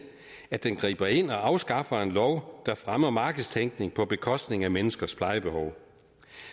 at den griber ind og afskaffer en lov der fremmer markedstænkning på bekostning af menneskers plejebehov